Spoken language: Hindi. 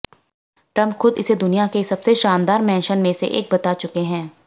ट्रंप खुद इसे दुनिया के सबसे शानदार मैंशन में से एक बता चुके हैं